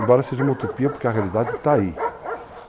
Embora seja uma utopia, porque a realidade está aí.